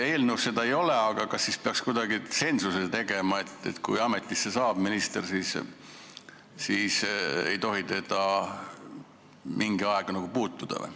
Eelnõus seda ei ole, aga kas peaks kuidagi tsensuse kehtestama, et kui minister ametisse saab, siis ei tohi teda mingi aeg puutuda?